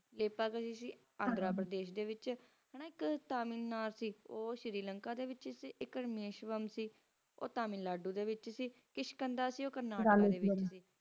ਏਕਤਾ ਗੁਰੂ ਸੀ ਆਗਰਾ ਦੇ ਵਿਚ ਓਰ ਇਕ ਤਾਮਿਲ ਨਾ ਸੀ ਉਹ ਸੀ ਸ਼੍ਰੀਲੰਕਾ ਦੇ ਵਿਚ ਓਰ ਪਰਾਮੇਸ਼ਰਾਮ ਸੀ ਉਹ ਤਾਮਿਲਨਾਡੂ ਸੀ ਕਿਸ਼ਕਟਣਾ ਸੀ ਕੇਰ੍ਨਾਲ੍ਯ ਡੀ ਵਿਚ ਸੇ